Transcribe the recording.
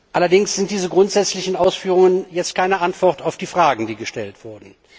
Allerdings sind diese grundsätzlichen Ausführungen jetzt keine Antwort auf die Fragen, die gestellt wurden.